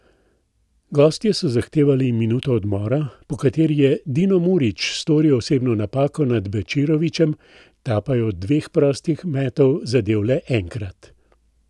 Gostje so zahtevali minuto odmora, po kateri je Dino Murić storil osebno napako nad Bečirovićem, ta pa je od dveh prostih metov zadel le enkrat.